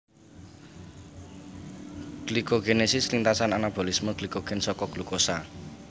Glikogenesis lintasan anabolisme glikogen saka glukosa